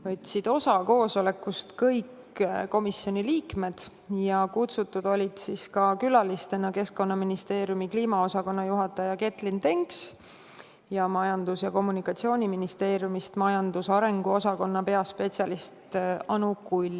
Koosolekust võtsid osa kõik komisjoni liikmed ja külalistena olid kohale kutsutud Keskkonnaministeeriumi kliimaosakonna juhataja Getlyn Denks ning Majandus- ja Kommunikatsiooniministeeriumi majandusarengu osakonna peaspetsialist Anu Kull.